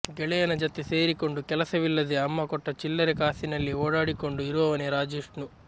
ಗೆಳೆಯನ ಜತೆ ಸೇರಿಕೊಂಡು ಕೆಲಸವಿಲ್ಲದೇ ಅಮ್ಮ ಕೊಟ್ಟ ಚಿಲ್ಲರೆ ಕಾಸಿನಲ್ಲಿ ಓಡಾಡಿಕೊಂಡು ಇರುವವನೆ ರಾಜ್ವಿಷ್ಣು